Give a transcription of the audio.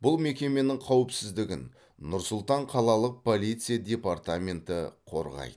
бұл мекеменің қауіпсіздігін нұр сұлтан қалалық полиция департаменті қорғайды